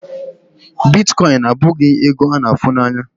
Bitkọịn abụghị ego a na-afụ anya.